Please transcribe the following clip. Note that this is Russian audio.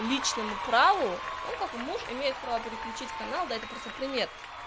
личному праву у как муж имеет право переключить канал да это просто пример